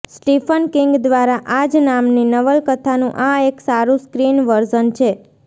Stephen King દ્વારા આ જ નામની નવલકથાનું આ એક સારુ સ્ક્રીન વર્ઝન છે